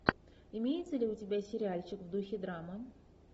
имеется ли у тебя сериальчик в духе драмы